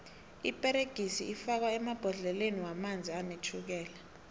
iperegisi ifakwo emabhodleleni womanzi anetjhukela